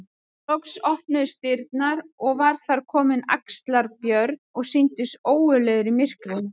Loks opnuðust dyrnar og var þar kominn Axlar-Björn og sýndist ógurlegur í myrkrinu.